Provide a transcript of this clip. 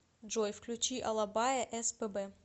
джой включи алабая эс пэ бэ